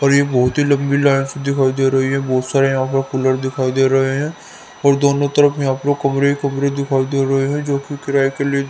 और ये बहोत ही लंबी लाइट्स दिखाई दे रही है बहोत सारे यहां पे कूलर दिखाई दे रहे हैं और दोनों तरफ में आपके कमरे ही कमरे दिखाई दे रहे हैं जो किराए के ले --